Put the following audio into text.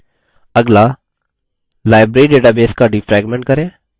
अगला library database का defragment करें